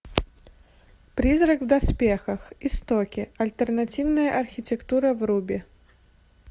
призрак в доспехах истоки альтернативная архитектура вруби